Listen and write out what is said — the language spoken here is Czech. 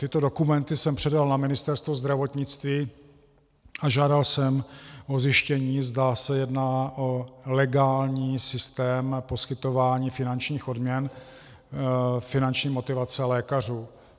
Tyto dokumenty jsem předal na Ministerstvo zdravotnictví a žádal jsem o zjištění, zda se jedná o legální systém poskytování finančních odměn, finanční motivace lékařů.